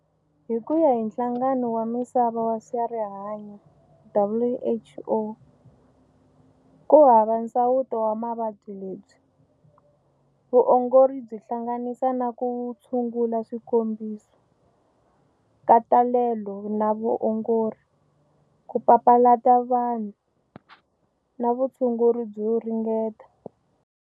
Hi kuya hi nhlangano wa Misava wa Swarihanyo, WHO, ku hava nsawuto wa mavabyi lebyi. Vuongori byi hlanganisa na ku tshungula swikombiso, nkatalelo na vuongori, ku papalata vanhu, na vutshunguri byo ringeta.